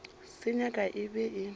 se nyaka e be e